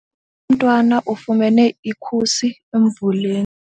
Umntwana ufumene ikhusi emvuleni.